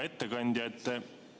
Hea ettekandja!